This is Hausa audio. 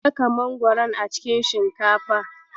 Ka saka mangoron a cikin shinkafa.